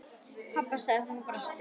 Pabba? sagði hún og brosti.